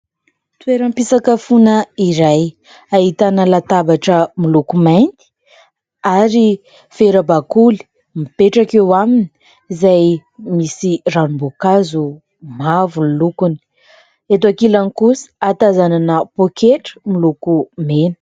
Toeram-pisakafona iray ahitana latabatra miloko mainty ary vera bakoly mipetraka eo aminy izay misy ranom-boankazo mavo ny lokony, eto ankilany kosa hatazanana poketra miloko mena.